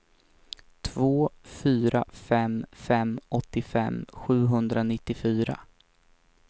två fyra fem fem åttiofem sjuhundranittiofyra